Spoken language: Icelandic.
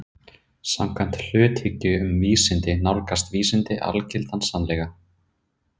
Samkvæmt hluthyggju um vísindi nálgast vísindi algildan sannleika.